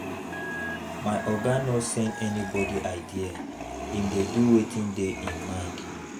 My oga no send anybodi idea, im dey do wetin dey im mind.